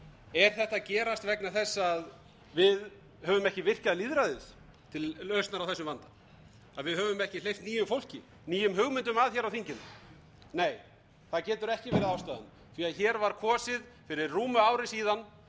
er þetta að gerast vegna þess að við höfum ekki virkjað lýðræðið til lausnar á þessum vanda að við höfum ekki hleypt nýju fólki nýjum hugmyndum að hér á þinginu nei það getur ekki verið ástæðan því að hér var kosið fyrir rúmu ári síðan